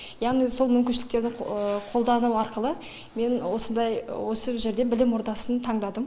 яғни сол мүмкіншіліктерді қолдану арқылы мен осындай осы жерде білім ордасын таңдадым